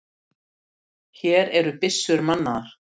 Hér eru byssur mannaðar!